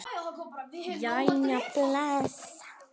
Jæja, bless